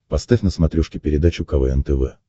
поставь на смотрешке передачу квн тв